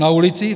Na ulici?